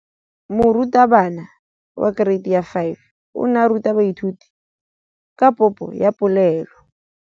Moratabana wa kereiti ya 5 o ne a ruta baithuti ka popô ya polelô.